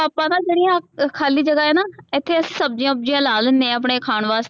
ਆਪਾਂ ਨਾ ਜਿਹੜੀਆਂ ਖਾਲੀ ਜਗਾ ਹੈ ਨਾ ਇਥੇ ਸਬਜੀਆਂ ਵੁਬ੍ਜਿਆਂ ਲਾ ਲੈਣੇ ਆ ਆਪਣੇ ਖਾਣ ਵਾਸਤੇ।